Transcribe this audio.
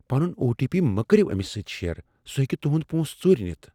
پنن O T P مہٕ کریو أمس سۭتۍ شِیر ۔ سُہ ہیکہ تہند پونسہٕ ژوٗرِ نِتھ ۔